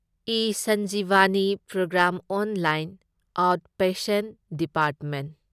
ꯏꯁꯟꯖꯤꯚꯥꯅꯤ programme online out patient department